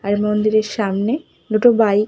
আর মন্দিরের সামনে দুটো বাইক ।